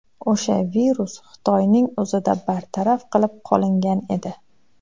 O‘sha virus Xitoyning o‘zida bartaraf qilib qolingan edi.